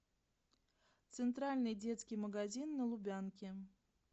центральный детский магазин на лубянке